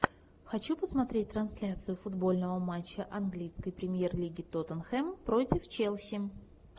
хочу посмотреть трансляцию футбольного матча английской премьер лиги тоттенхэм против челси